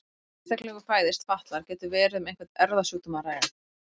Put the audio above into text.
Þegar einstaklingur fæðist fatlaður getur verið um einhvern erfðasjúkdóm að ræða.